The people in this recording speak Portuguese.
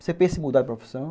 Você pensa em mudar de profissão?